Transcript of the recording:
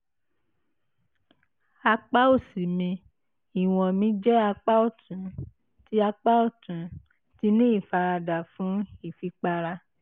apá òsì mi (ìwọ̀n mi jẹ́ apá ọ̀tún) ti apá ọ̀tún) ti ní ìfaradà fún ìfipára